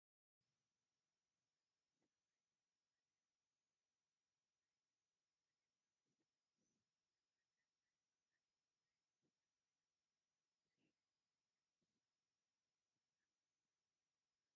እዞም ሰብ ኣይተ ደመቀ መኰንን ይበሃሉ፡፡ ናይ ኢህወደግ መንግስቲ ምስ ወደቐ ናይ ወፃኢ ጉዳይ ሚኒስተር ኮይኖም ተሸሞም እዮም፡፡ ንሶም ሕዚ ኣብ ምንታይ ኩነታት ኣለዉ?